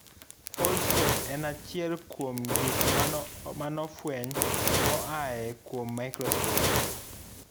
Foldscope en achiel kuom kuom gik manofueny moa kuom microscope.